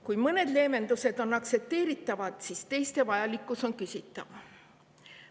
Kui mõned leevendused on aktsepteeritavad, siis teiste vajalikkus on küsitav.